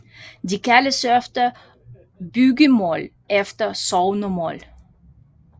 De kaldes ofte bygdemål eller sognemål